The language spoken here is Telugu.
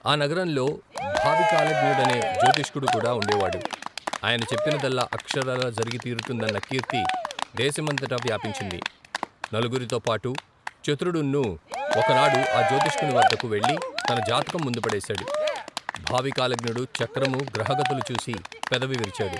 ఆ నగరంలో భావికాలజ్ఞుడనే జ్యోతిష్కుడుకూడా ఉండేవాడు ఆయన చెప్పిన దల్లా అక్షరాలా జరిగి తీరుతుందన్న కీర్తి దేశమంతటా వ్యాపించింది నలుగురితో పాటు చతురుడున్నూ ఒకనాడు ఆ జ్యోతిష్కునివద్దకు వెళ్లి తన జాతకం ముందు పడేశాడు భావి కాలజ్ఞుడు చక్రము గ్రహగతులు చూసి పెదవివిరిచాడు.